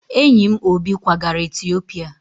Enyi m Obi kwagara Etiopia